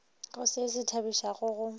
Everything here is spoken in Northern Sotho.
go se se thabišago go